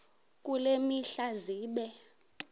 kule mihla zibe